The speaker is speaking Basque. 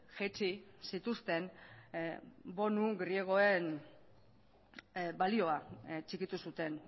jaitsi zituzten bonu griegoen balioa txikitu zuten